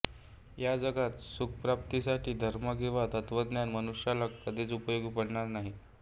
ह्या जगात सुखप्राप्तीसाठी धर्म किंवा तत्त्वज्ञान मनुष्याला कधीच उपयोगी पडणार नाही